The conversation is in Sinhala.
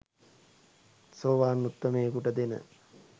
සෝවාන් උත්තමයයෙකුට දෙන